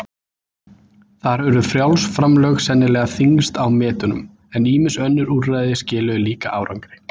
Þar urðu frjáls framlög sennilega þyngst á metunum, en ýmis önnur úrræði skiluðu líka árangri.